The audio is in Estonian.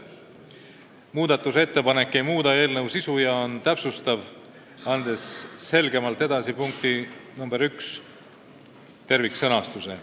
Muudatusettepanek ei muuda eelnõu sisu ja on täpsustav, tänu sellele on punkt 1 selgemalt sõnastatud.